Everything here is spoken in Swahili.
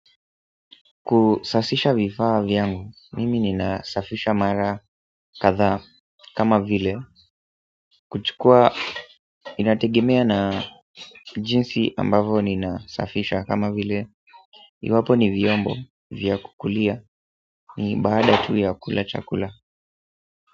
Kusafisha vifaa vyangu, mimi ninasafisha mara kadhaa kama vile. Kuchukua inategemea na jinsi ambavo ninasafisha kama vile, iwapo ni vyombo vya kukulia ni baada tu ya kula chakula.